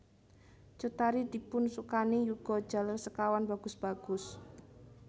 Cut Tari dipunsukani yuga jaler sekawan bagus bagus